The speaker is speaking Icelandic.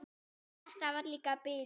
En þetta var líka bilun.